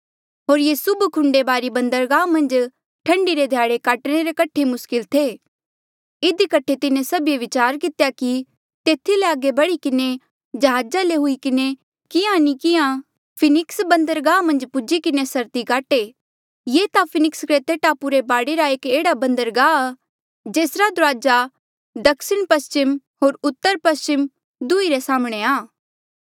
होर ये सुभ खुंडेबारी बंदरगाहा मन्झ ठंडी रे ध्याड़े काटणे रे कठे मुस्किल थे इधी कठे तिन्हें सभीए विचार कितेया कि तेथी ले आगे बढ़ी किन्हें जहाजा ले हुई किन्हें किहाँ नी किहाँ फिनिक्स बन्दरगाह मन्झ पूजी किन्हें सर्दी काटे ये ता फिनिक्स क्रेते टापू रे बाढे रा एक एह्ड़ा बंदरगाह आ जेसरा दुराजा दक्षिणपस्चिम होर उतरपस्चिम दुंहीं रे साम्हणें आ